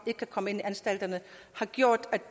ikke kan komme ind i anstalterne har gjort